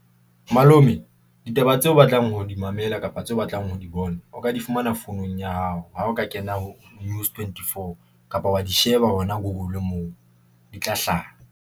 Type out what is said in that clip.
Malome ditaba tseo o batlang ho di mamela kapa tse o batlang ho di bona, o ka di fumana founung ya hao. Ha o ka kena ho News 24 kapa wa di sheba hona Google moo di tla hlaha.